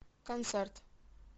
концерт